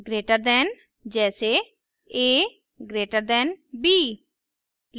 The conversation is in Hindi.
ग्रेटर दैन से अधिक जैसे a> b